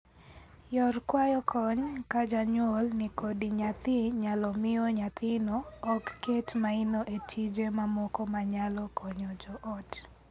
Yor kwayo kony ka janyuol ni kod nyathi nyalo miyo nyathino ok ket maino e tije mamoko manyalo konyo joot.